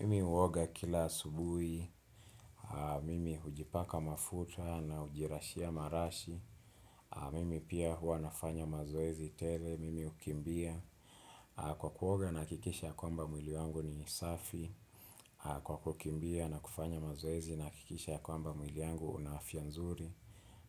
Mimi huoga kila asubuhi, mimi hujipaka mafuta na hujirashia marashi, mimi pia hua nafanya mazoezi tele, mimi hukimbia, kwa kuoga nahakikisha kwamba mwili wangu ni safi, kwa kukimbia na kufanya mazoezi nahakikisha kwamba mwili wangu una afya nzuri,